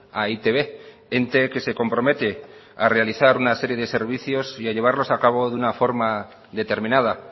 a e i te be ente que se compromete a realizar una serie de servicios y a llevarlos a cabo de una forma determinada